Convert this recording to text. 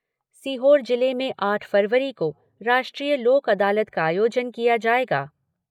सीहोर जिले में आठ फरवरी को राष्ट्रीय लोक अदालत का आयोजन किया जायेगा।